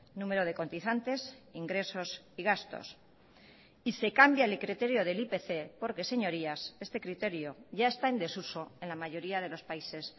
número de cotizantes ingresos y gastos y se cambia el criterio del ipc porque señorías este criterio ya está en desuso en la mayoría de los países